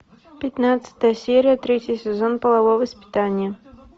пятнадцатая серия третий сезон половое воспитание